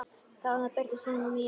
Þarna birtist hún mér.